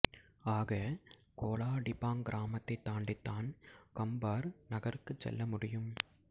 ஆக Kuala Dipang கிராமத்தைத் தாண்டித்தான் கம்பார் நகருக்குச் செல்ல முடியும்